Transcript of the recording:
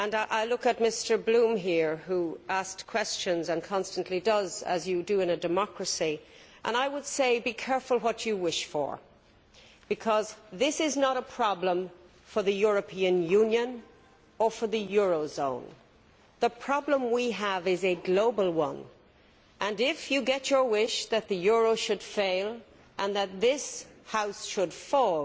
I look at Mr Bloom here, who asked questions and constantly does as you do in a democracy and I would say be careful what you wish for' because this is not a problem for the European Union or for the euro zone the problem we have is a global one, and if you get your wish that the euro should fail and that this House should fall,